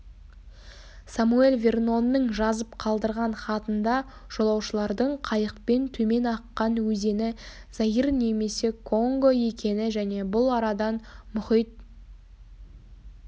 самоэль вернонның жазып қалдырған хатында жолаушылардың қайықпен төмен аққан өзені заир немесе конго екені және бұл арадан мұхит